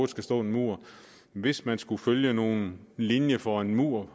skal stå en mur hvis man skulle følge nogen linje for en mur